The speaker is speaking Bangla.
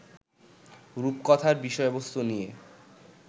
রূপকথার বিষয়বস্তু নিয়ে